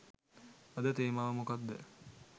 අද තේමාව මොකද්ද